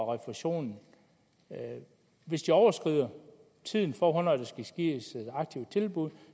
refusionen hvis de overskrider tiden for hvornår der skal gives et aktivt tilbud